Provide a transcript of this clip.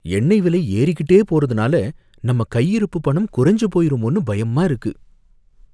எண்ணை விலை ஏறிக்கிட்டே போறதுனால நம்ம கையிருப்பு பணம் குறைஞ்சு போயிருமோனு பயமா இருக்கு.